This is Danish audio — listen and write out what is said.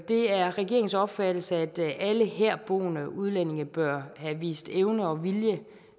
det er regeringens opfattelse at alle herboende udlændinge bør have vist evne og vilje